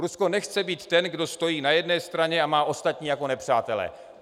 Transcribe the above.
Rusko nechce být ten, kdo stojí na jedné straně a má ostatní jako nepřátele.